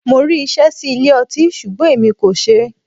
Mo rí iṣẹ́ sí ilé ọtí ṣùgbọ́n èmi kò ṣeé.